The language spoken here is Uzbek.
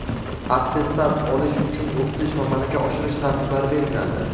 attestat olish uchun o‘qitish va malaka oshirish tartiblari belgilandi.